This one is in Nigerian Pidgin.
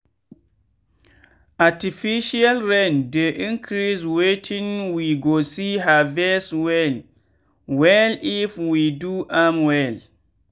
artificial rain dey increase wetin we go see harvest well wellif we do am well.